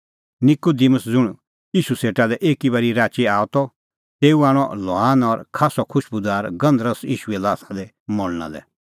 निकूदिमुस ज़ुंण ईशू सेटा लै एकी बारी राची आअ त तेऊ आणअ लोवान और खास्सअ खुशबूदार गंधरस ईशूए ल्हासा दी मल़णा लै